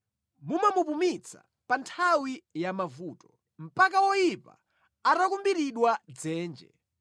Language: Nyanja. mumamupumitsa pa nthawi ya mavuto, mpaka woyipa atakumbiridwa dzenje.